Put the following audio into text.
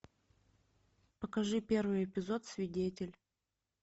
покажи первый эпизод свидетель